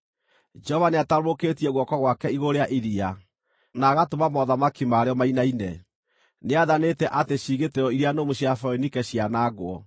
Jehova nĩatambũrũkĩtie guoko gwake igũrũ rĩa iria, na agatũma mothamaki marĩo mainaine. Nĩathanĩte atĩ ciĩgitĩro iria nũmu cia Foinike cianangwo.